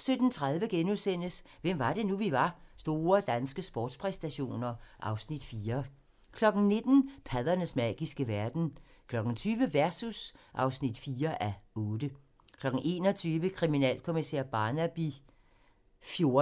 17:30: Hvem var det nu, vi var: Store danske sportspræstationer (Afs. 4)* 19:00: Paddernes magiske verden 20:00: Versus (4:8) 21:00: Kriminalkommissær Barnaby XIV